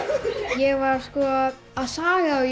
ég var að saga og